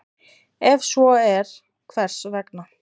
Ef svo er, hvers vegna?